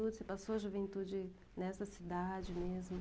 Você passou a juventude nessa cidade mesmo?